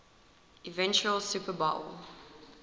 eventual super bowl